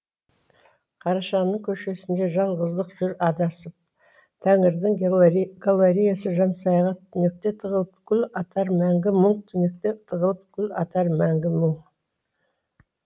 қарашаның көшесінде жалғыздық жүр адасып тәңірдің галареясы жансаяға түнекте тығылып гүл атар мәңгі мұң түнекте тығылып гүл атар мәңгі мұң